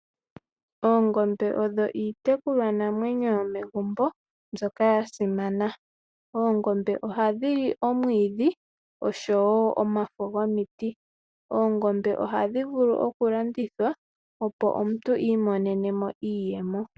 Oongombe odho iitekulwa namwenyo yomegumbo mbyoka ya simana . Oongombe ohadhi li omwiidhi oshowo omafo gomiti . Oongombe ohadhi vulu okulandithwa opo omuntu I imonenemo iiyemo.